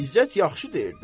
İzzət yaxşı deyir də.